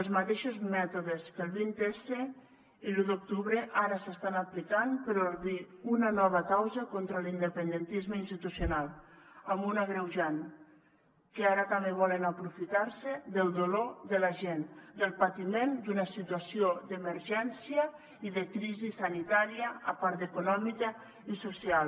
els mateixos mètodes que el vints i l’u d’octubre ara s’estan aplicant per ordir una nova causa contra l’independentisme institucional amb un agreujant que ara també volen aprofitarse del dolor de la gent del patiment d’una situació d’emergència i de crisi sanitària a part d’econòmica i social